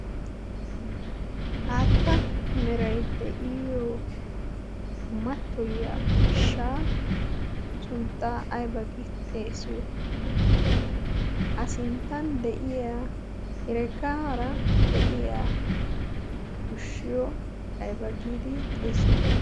haatta meray de'iyo mattoyiya ushshaa sunttaa ayba gi xeesiyo a sinttan de'iya hireggaara de'iya ushshiyo ayba giidi xeesiyo